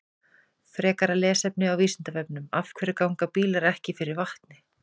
Frekara lesefni á Vísindavefnum: Af hverju ganga bílar ekki fyrir vatni?